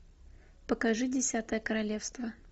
покажи десятое королевство